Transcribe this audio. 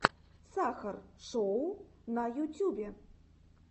сахар шоу на ютюбе